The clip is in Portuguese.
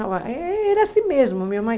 Era assim mesmo, minha mãe.